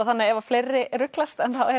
þannig ef fleiri ruglast þá er